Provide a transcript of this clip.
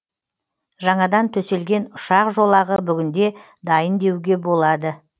жаңадан төселген ұшақ жолағы бүгінде дайын деуге болады